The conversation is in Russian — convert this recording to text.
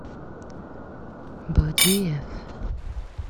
бодиев